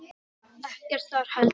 Ekkert þar heldur.